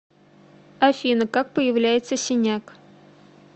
афина как появляется синяк